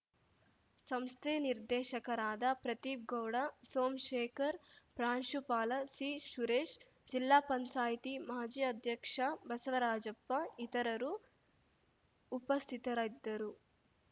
ಸಂಸ್ಥೆ ನಿರ್ದೇಶಕರಾದ ಪ್ರದೀಪ್‌ ಗೌಡ ಸೋಮ್ ಶೇಖರ್‌ ಪ್ರಾಂಶುಪಾಲ ಸಿಸುರೇಶ್‌ ಜಿಲ್ಲಾಪಂಚಾಯತಿ ಮಾಜಿ ಅಧ್ಯಕ್ಷ ಬಸವರಾಜಪ್ಪ ಇತರರು ಉಪಸ್ಥಿತರಿದ್ದರು